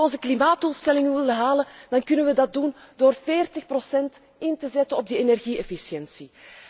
Als we onze klimaatdoelstellingen willen halen dan kunnen we dat doen door 40 in te zetten op de energie efficiëntie.